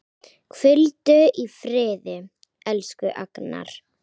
Hvíldu í friði, elsku Agnar.